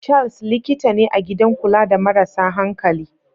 Charles likita ne a gidan kula da marasa hankali.